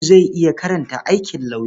Audu zai yi karatun aikin lauyer.